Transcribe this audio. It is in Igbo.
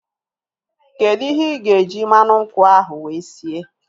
Kedụ ihe ịga eji mmanụ nkwụ ahu wee sie?